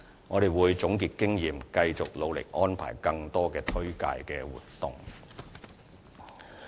我們會總結經驗，繼續努力安排更多的推廣活動。